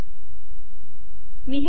मी हे खोडते